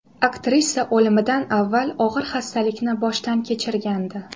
Aktrisa o‘limidan avval og‘ir xastalikni boshdan kechirgandi.